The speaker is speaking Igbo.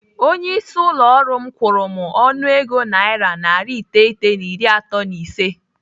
Onye isi ụlọ ọrụ m kwuru m ọnụego naira narị iteghete na iri atọ na ise.